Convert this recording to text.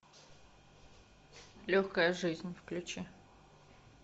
легкая жизнь включи